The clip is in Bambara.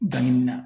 Danni na